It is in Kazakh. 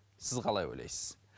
сіз қалай ойлайсыз